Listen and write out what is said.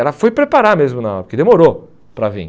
Ela foi preparar mesmo na hora, porque demorou para vir.